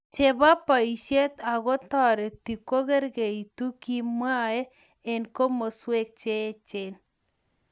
chebo boishet ago toreti kongeringitu kemwee eng komoswek cheechen